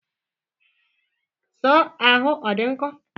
Soọ ahụ ọ dị nkọ?